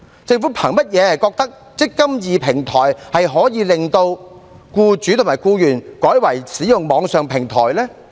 政府憑甚麼認為"積金易"平台，可以令僱主和僱員改為使用網上平台呢？